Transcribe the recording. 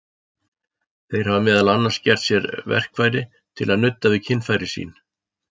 Þeir hafa meðal annars gert sér verkfæri til að nudda við kynfæri sín.